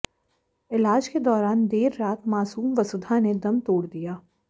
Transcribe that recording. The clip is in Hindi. इलाज के दौरान देर रात मासूम वसुधा ने दम तोड़ दिया